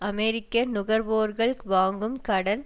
அமெரிக்க நுகர்வோர்கள் வாங்கும் கடன்